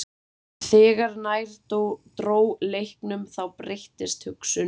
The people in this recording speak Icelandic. En þegar nær dró leiknum þá breyttist hugsunin.